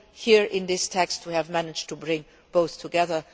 Here in this text, we have managed to bring both together.